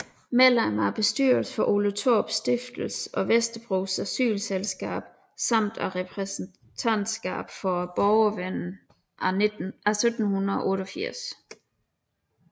Medlem af bestyrelsen for Ole Thorups Stiftelse og Vesterbros Asylselskab samt af repræsentantskabet for Borgervennen af 1788